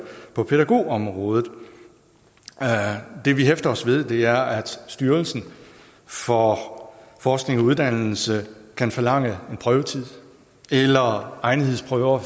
på pædagogområdet det vi hæfter os ved er at styrelsen for forskning og uddannelse kan forlange en prøvetid eller egnethedsprøver